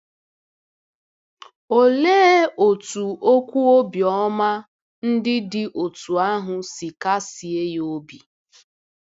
Olee otú okwu obiọma ndị dị otú ahụ si kasie ya obi!